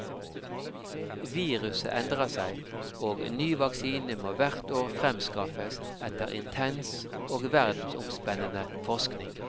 Viruset endrer seg, og ny vaksine må hvert år fremskaffes etter intens og verdensomspennende forskning.